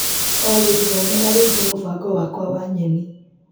Olĩ thomera rĩngĩ mũbango wakwa wa nyeni .